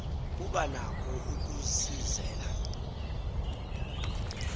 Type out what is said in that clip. kuba nako ukusizela